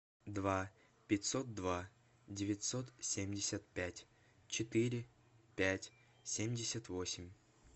два пятьсот два девятьсот семьдесят пять четыре пять семьдесят восемь